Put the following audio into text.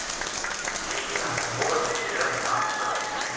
Livet er en alvorlig affære med mange spørgsmål.